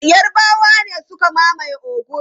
Yarbawa ne suka mamaye Ogun.